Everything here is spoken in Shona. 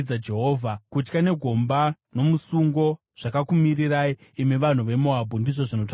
Kutya negomba nomusungo zvakakumirirai, imi vanhu veMoabhu,” ndizvo zvinotaura Jehovha.